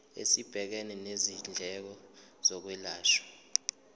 esibhekene nezindleko zokwelashwa